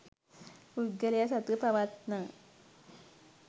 පුද්ගලයා සතුව පවත්නා